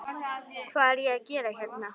Hvað er ég að gera hérna?